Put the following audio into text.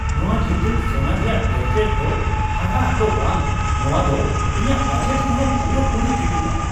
ᱱᱚᱶᱟ ᱡᱚᱴᱤᱞ ᱥᱳᱱᱟ ᱨᱮᱭᱟᱜ ᱵᱨᱮᱥᱞᱮᱴ ᱫᱚ ᱦᱟᱦᱟᱲᱟᱜ ᱫᱚ ᱵᱟᱝ, ᱱᱚᱶᱟ ᱫᱚ ᱤᱧᱟᱹᱜ ᱵᱟᱡᱮᱴ ᱨᱮᱦᱚᱸ ᱯᱩᱨᱟᱹ ᱯᱩᱨᱤᱭ ᱯᱷᱤᱴᱚᱜᱼᱟ ᱾